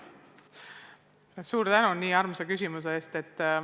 Suur tänu nii armsa küsimuse eest!